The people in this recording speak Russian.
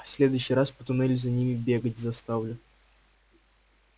в следующий раз по туннелю за ними бегать заставлю